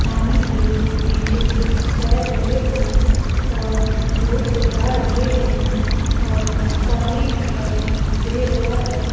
पानी के बीचो बीच तैर रहे हैं और बोट चला रहे हैं और पानी दिखाई दे रहा है।